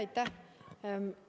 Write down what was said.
Aitäh!